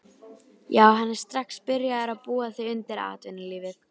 Já hann er strax byrjaður að búa þig undir atvinnulífið.